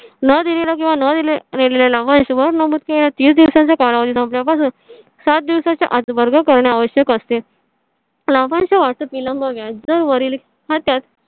नं दिलेला किंवा नं दिलेलं लाभांश वर नमूद केलेल्या तीस दिवसांचा कालावधी संपल्या पासून सात दिवसांच्या आत वर्ग करणे आवश्यक असते. लाभांश वाटप विलंब व्याज वरील. हां त्यात.